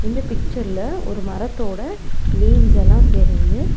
இந்த பிக்ச்சர் ல ஒரு மரத்தோட லீவ்ஸ் எல்லா தெரிது.